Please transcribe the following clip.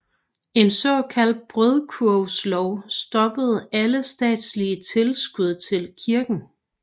En såkaldt brødkurvslov stoppede alle statslige tilskud til kirken